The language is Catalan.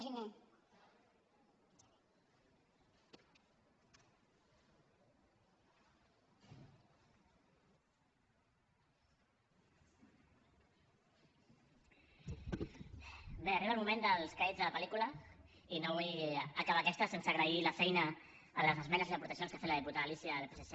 bé arriba el moment dels crèdits de la pel·lícula i no vull acabar aquesta sense agrair la feina en les esmenes i les aportacions que ha fet la diputada alícia del psc